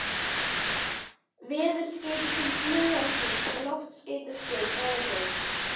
veðurskeyti til flughersins með loftskeytastöð frá Reykjavík